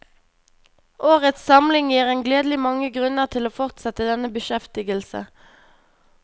Årets samling gir en gledelig mange grunner til å fortsette denne beskjeftigelse.